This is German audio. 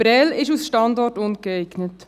Prêles ist als Standort ungeeignet.